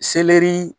Selɛri